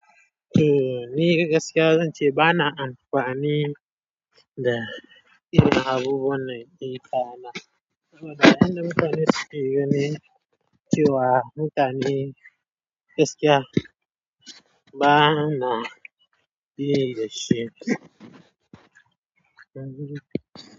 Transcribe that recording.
Eh, ni gaskiya zan ce ba na amfani da irin abubuwan nan ɗin ka na. Saboda a yanda mutane suke gani cewa mutane gaskiya ba na bi da shi.